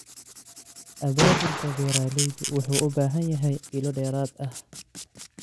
Abaabulka beeralaydu wuxuu u baahan yahay ilo dheeraad ah.